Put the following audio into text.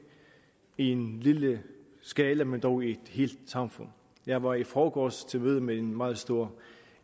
i en lille skala men dog i et helt samfund jeg var i forgårs til møde med en meget stor